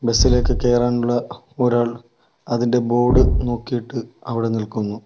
Bus ഇലേക്ക് കേറാനുള്ള ഒരാൾ അതിൻ്റെ ബോർഡ് നോക്കീട്ട് അവിടെ നിൽക്കുന്നു.